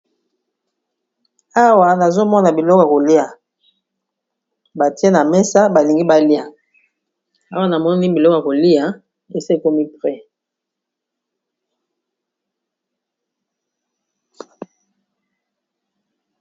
Awa nazomona biloko ya kolia batie na mesa balingi balia awa namoni biloko kolia esi ekomi prêt.